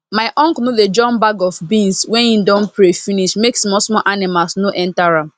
my uncle no dey jump bag of beans when he don pray finish make small small animals no enter am